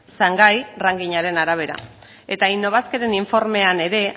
shanghai ranking aren arabera eta innobasqueren informean ere